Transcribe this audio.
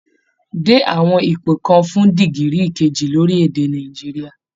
Dé àwọn ipò kan fún dìgírì kejì lórílẹ̀ èdè Nàìjíríà